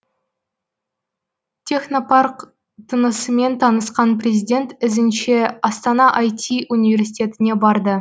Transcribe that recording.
технопарк тынысымен танысқан президент ізінше астана ай ти университетіне барды